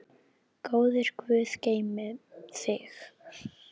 Góður guð geymi þig.